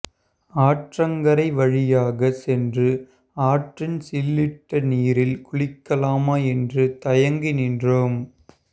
ஆற்றங்கரைவழியாக சென்று ஆற்றின் சில்லிட்ட நீரில் குளிக்கலாமா என்று தயங்கி நின்றோம்